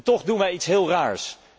Toch doen wij iets heel raars.